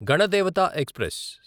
Ganadevata express